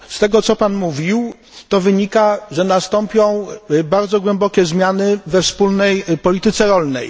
Z tego co Pan mówił to wynika, że nastąpią bardzo głębokie zmiany we Wspólnej Polityce Rolnej.